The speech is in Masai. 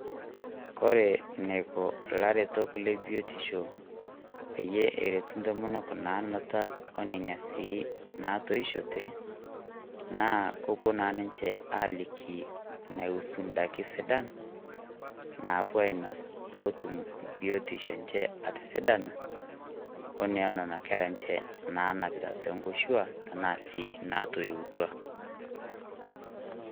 Kore neiko ilaretok lebiotisho peyie eretu intomonok naanuta o neina sii naatoishote, naa kepuo naa ninche aaliki inaihusu indaikin sidan naapuo aainos peetum biyotisho enche atisidana, o noo nena kera enche naanapita toonkoshuak o nena sii naatoyuwutua